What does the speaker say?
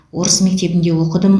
орыс мектебінде оқыдым